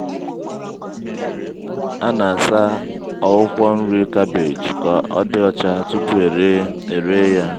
a na-asa akwụkwọ nri cabbage kà ọdị ọchá tupu eree eree ya.